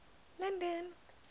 london